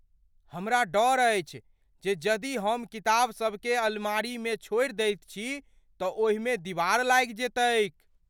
हमरा डर अछि जे यदि हम किताबसभकेँ अलमारीमे छोड़ि दैत छी तँ ओहि मे दिवार लागि जेतैक ।